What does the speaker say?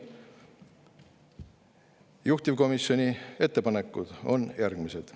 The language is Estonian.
Juhtivkomisjoni ettepanekud on järgmised.